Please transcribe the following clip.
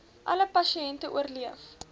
alle pasiënte oorleef